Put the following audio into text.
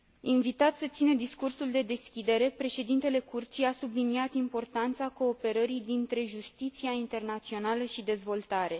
Invitat să țină discursul de deschidere, președintele Curții a subliniat importanța cooperării dintre justiția internațională și dezvoltare.